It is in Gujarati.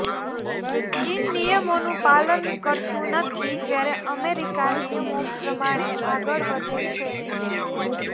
ચીન નિયમોનું પાલન કરતું નથી જ્યારે અમેરિકા નિયમો પ્રમાણે આગળ વધે છે